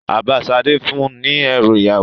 Bàbá Sadé fún un ní ẹrú ìyàwó.